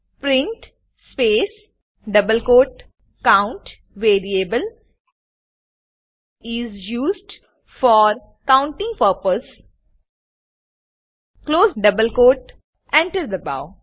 print space double quote count variable is used for counting purpose close double quote enter દબાઓ